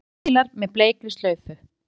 Steypubílar með bleikri slaufu